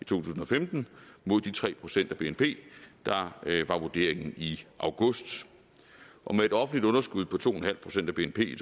tusind og femten mod de tre procent af bnp der var vurderingen i august og med et offentligt underskud på to en halv procent af bnp i